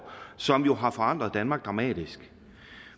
som har forandret danmark dramatisk